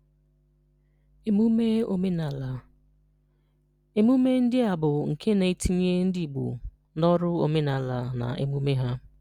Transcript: Emume Omenala: Emume ndị a bụ nke na-etinye ndị Igbo n'ọrụ omenala na emume ha.